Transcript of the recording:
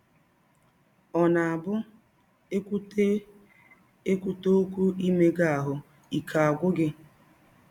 Ọ̀ na - abụ e kwụte e kwụte ọkwụ “ imega ahụ́ ” ike agwụ gị?